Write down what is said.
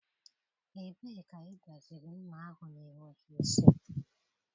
Ebee ka ị gbaziri Ḿmà ahụ na-enweghị isi?